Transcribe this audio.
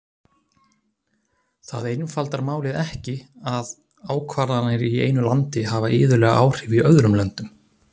Það einfaldar málið ekki að ákvarðanir í einu landi hafa iðulega áhrif í öðrum löndum.